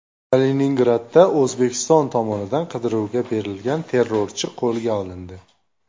Kaliningradda O‘zbekiston tomonidan qidiruvga berilgan terrorchi qo‘lga olindi.